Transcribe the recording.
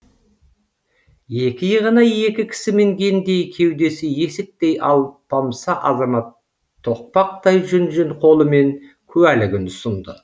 екі иығына екі кісі мінгендей кеудесі есіктей алпамса азамат тоқпақтай жүн жүн қолымен куәлігін ұсынды